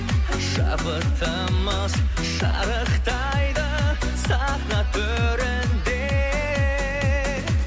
шабытымыз шарықтайды сахна төрінде